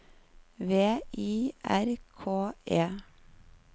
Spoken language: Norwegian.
V I R K E